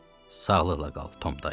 Sağlıqla qal, Tom dayı.